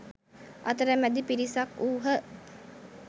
අතර මැදි පිරිසක් වූහ.